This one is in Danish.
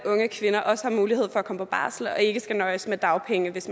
unge kvinder også har mulighed for at komme på barsel og ikke skal nøjes med dagpenge hvis